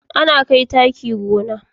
Ana kai taki gona ne